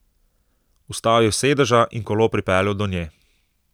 Vstal je s sedeža in kolo pripeljal do nje.